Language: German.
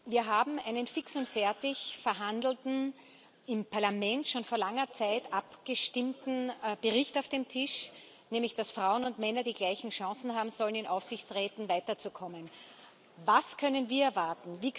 Wir haben einen fix und fertig verhandelten, im Parlament schon vor langer Zeit abgestimmten Bericht auf dem Tisch, in dem es heißt, dass Frauen und Männer die gleichen Chancen haben sollen, in Aufsichtsräten weiterzukommen. Was können wir erwarten?